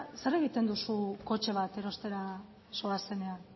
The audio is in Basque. zer egiten duzu kotxe bat erostera zoazenean